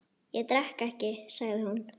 Ég drekk ekki, sagði hún.